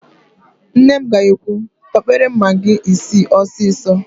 Nne m ga-ekwu, "tọpere m magị isii ọsịsọ"!